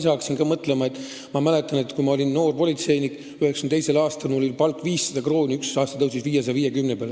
Ma hakkasin praegu mõtlema – ma mäletan, et kui ma 1992. aastal noor politseinik olin, siis oli mu palk 500 krooni ja ühel aastal tõusis 550 peale.